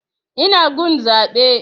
Ina gun zaɓe